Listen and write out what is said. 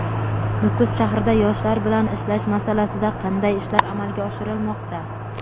Nukus shahrida yoshlar bilan ishlash masalasida qanday ishlar amalga oshirilmoqda?.